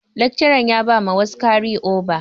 Lekcaran ya bama wasu ɗalibai kari oba.